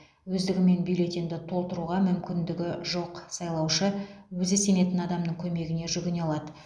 өздігімен бюллетенді толтыруға мүмкіндігі жоқ сайлаушы өзі сенетін адамның көмегіне жүгіне алады